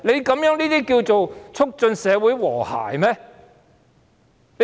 這樣能促進社會和諧嗎？